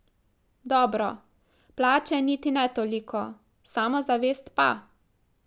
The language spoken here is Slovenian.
Dobro, plače niti ne toliko, samozavest pa.